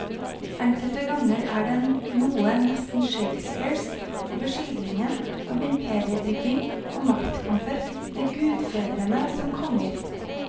Enkelte ganger er det noe nesten shakespearsk over skildringen av imperiebygging og maktkamper, med gudfedrene som konger.